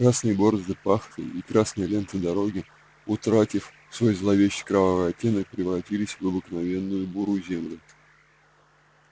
красные борозды пахоты и красная лента дороги утратив свой зловеще-кровавый оттенок превратились в обыкновенную бурую землю